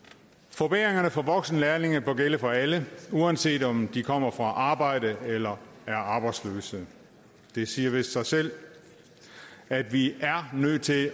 forbedringerne for voksenlærlinge bør gælde for alle uanset om de kommer fra arbejde eller er arbejdsløse det siger vist sig selv at vi er nødt til